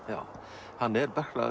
já hann er